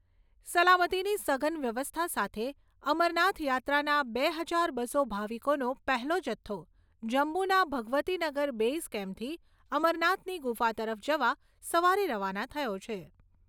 સલામતીની સઘન વ્યવસ્થા સાથે, અમરનાથ યાત્રાના બે હજાર બસો ભાવિકોનો પહેલો જથ્થો જમ્મુના ભગવતીનગર બેઇઝ કેમ્પથી અમરનાથની ગુફા તરફ જવા સવારે રવાના થયો છે.